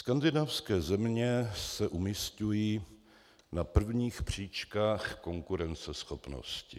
Skandinávské země se umisťují na prvních příčkách konkurenceschopnosti.